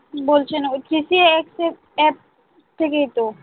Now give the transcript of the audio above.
বোলছেন আর কি যে থেকেই তো